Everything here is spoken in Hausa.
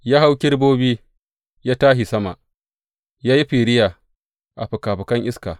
Ya hau kerubobi, ya tashi sama; ya yi firiya a fikafikan iska.